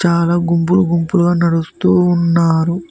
చాలా గుంపులు గుంపులుగా నడుస్తూ ఉన్నారు